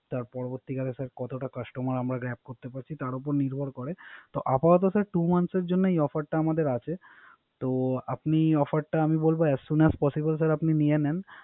তারপরে পরবর্তীকারে আমার কতটা Customer আমরা Rap করতে পারছি। তার উপর নির্ভর করে। আপাতত স্যার Two month এর জন্য এ Offer টা আছে। তো আপনি Offer টা আমি বলব As soon as possible sir আপনি নিয়ে নেন